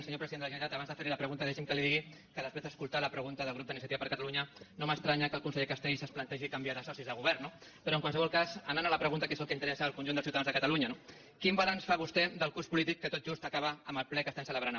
senyor president de la generalitat abans de fer li la pregunta deixi’m que li digui que després d’escoltar la pregunta del grup d’iniciativa per catalunya no m’estranya que el conseller castells es plantegi canviar de socis de govern no però en qualsevol cas anant a la pregunta que és el que interessa al conjunt dels ciutadans de catalunya no quin balanç fa vostè del curs polític que tot just acaba amb el ple que estem celebrant avui